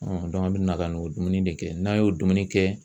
an bɛ na ka n'o dumuni de kɛ n'an y'o dumuni kɛ